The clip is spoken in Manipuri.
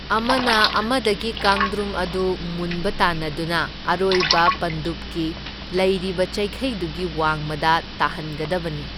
ꯑꯃꯅ ꯑꯃꯗꯒꯤ ꯀꯥꯡꯗ꯭ꯔꯨꯝ ꯑꯗꯨ ꯃꯨꯟꯕ ꯇꯥꯟꯅꯗꯨꯅ ꯑꯔꯣꯏꯕ ꯄꯟꯗꯨꯞꯀꯤ ꯂꯩꯔꯤꯕ ꯆꯩꯈꯩꯗꯨꯒꯤ ꯋꯥꯡꯃꯗ ꯇꯥꯍꯟꯒꯗꯕꯅꯤ꯫